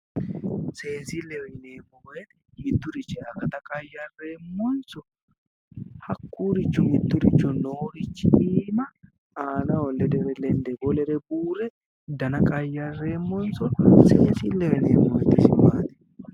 Seensilleho yineemmo woyite Mitturichira akata qayyareemonso hakkuricho mittoricho noorichi iima aanaho lende woyi lendde buurre dana qayyareemonso seensilleho yineemmo woyite isi maati?